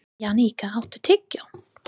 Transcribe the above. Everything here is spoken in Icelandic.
Jannika, áttu tyggjó?